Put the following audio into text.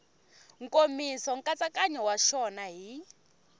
nkomiso nkatsakanyo wa xona hi